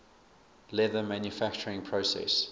leather manufacturing process